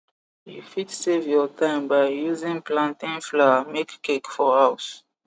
u fit save your time by using plantain flour make cake for house